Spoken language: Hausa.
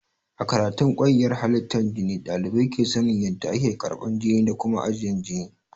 A karatun kwayyar halittar jini ɗalibai ke sanin ƴanda ake karban jini da Kuma ajiyan jini.